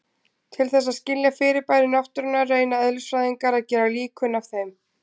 Til þess að skilja fyrirbæri náttúrunnar reyna eðlisfræðingar að gera líkön af þeim.